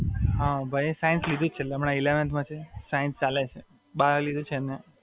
હાં, ભાઈએ સાઇન્સ લીધું જ છે હમણાં એ એલેવન્થ માં છે, સાઇન્સ ચાલે છે, બાયો લીધું છે.